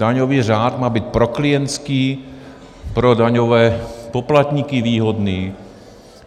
Daňový řád má být proklientský, pro daňové poplatníky výhodný.